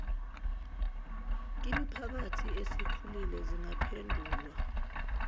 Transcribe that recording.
kwimiphakathi esikhulile zingaphendulwa